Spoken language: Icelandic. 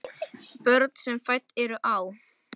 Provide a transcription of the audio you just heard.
Börn sem fædd eru á